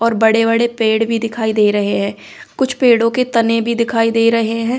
और बड़े-बड़े पेड़ भी दिखाई दे रहे हैं कुछ पेड़ों के तने भी दिखाई दे रहे हैं।